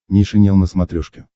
нейшенел на смотрешке